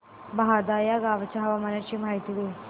बहादा या गावाच्या हवामानाची माहिती दे